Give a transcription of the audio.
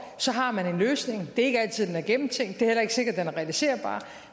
har man en løsning det er ikke altid den er gennemtænkt det er heller ikke sikkert den er realiserbar